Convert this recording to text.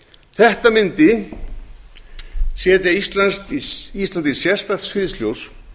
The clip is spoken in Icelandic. þetta mundi setja ísland í sérstakt sviðsljós